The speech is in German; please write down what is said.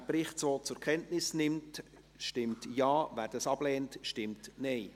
Wer den Bericht so zur Kenntnis nimmt, stimmt Ja, wer dies ablehnt, stimmt Nein.